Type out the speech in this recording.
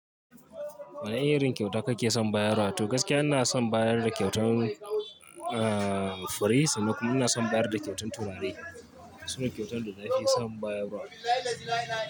Wani irin kyauta kake son bayarwa? To gaskiya ina son bayar da kyautan, ahhh fure sannan kuma ina son bayar da kyautan turare, sunai kyautan da na fi son bayarwa.